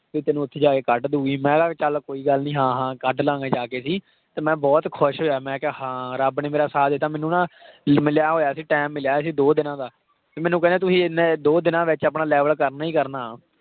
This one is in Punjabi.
ਵੀ ਤੈਨੂੰ ਉੱਥੇ ਜਾ ਕੇ ਕੱਢ ਦਊਗੀ ਮੈਂ ਕਿਹਾ ਚੱਲ ਕੋਈ ਗੱਲ ਨੀ ਹਾਂ ਹਾਂ ਕੱਢ ਲਵਾਂਗੇ ਜਾ ਕੇ ਅਸੀਂ ਤੇ ਮੈਂ ਬਹੁਤ ਖ਼ੁਸ਼ ਹੋਇਆ, ਮੈਂ ਕਿਹਾ ਹਾਂ ਰੱਬ ਨੇ ਮੇਰਾ ਸਾਥ ਦਿੱਤਾ ਮੈਨੂੰ ਨਾ ਲ~ ਮਿਲਿਆ ਹੋਇਆ ਸੀ time ਮਿਲਿਆ ਸੀ ਦੋ ਦਿਨਾਂ ਦਾ, ਤੇ ਮੈਨੂੰ ਕਹਿੰਦੇ ਤੁਸੀਂ ਇੰਨੇ ਦੋ ਦਿਨਾਂ ਵਿੱਚ ਆਪਣਾ level ਕਰਨਾ ਹੀ ਕਰਨਾ।